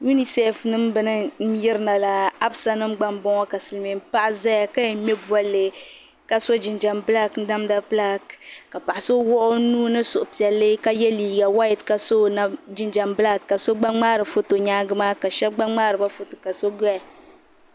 Uniseef nim beni n yiri na la absa nim gba m bo ŋɔ ka silimiin paɣa zaya kaya ka yɛn ŋme bolli ka so jinjam bilaak namda bilaak ka paɣa so wuhi o nuu ni suhupiɛlli ka ye liiga wayite ka so jinjam bilaak ka so gba ŋmaari foto nyaangi maa ka shɛbi gba ŋmaariba foto ka shɛbi doya.